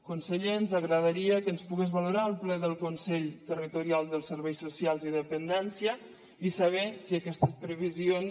conseller ens agradaria que ens pogués valorar el ple del consell territorial dels serveis socials i dependència i saber si aquestes previsions